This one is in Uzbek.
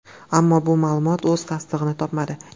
Ammo bu ma’lumot o‘z tasdig‘ini topmadi.